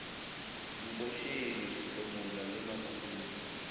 nkoshilo sehlomola le makhudu le